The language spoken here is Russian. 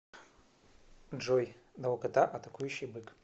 джой долгота атакующий бык